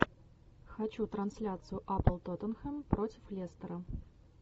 хочу трансляцию апл тоттенхэм против лестера